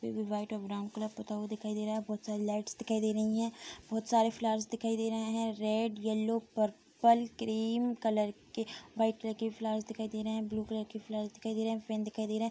भी वाइट और brown colour पूता हुआ दिखाई दे रहा है बहुत सारी लाइट्स दिखाई दे रही है बहुत सारे फ्लावर्स दिखाई दे रहे हैं red yellow purple cream colour के व्हाइट कलर के फ्लावर्स दिखाई दे रहे हैं ब्लू कलर के फ्लावर्स दिखाई दे रहे हैं पेन दिखाई दे रहे हैं।